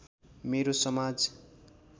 मेरो समाज